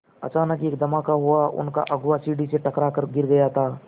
अचानक एक धमाका हुआ उनका अगुआ सीढ़ी से टकरा कर गिर गया था